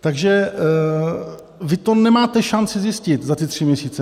Takže vy to nemáte šanci zjistit za ty tři měsíce.